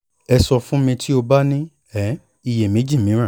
ẹ sọ fun mi ti o ba ni um iyemeji miiran